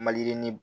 Maliyirini